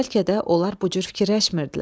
Bəlkə də onlar bu cür fikirləşmirdilər.